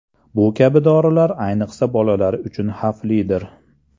Bu kabi dorilar ayniqsa bolalar uchun xavflidir.